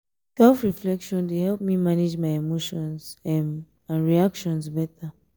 self-reflection dey help me manage my emotions um and reactions better.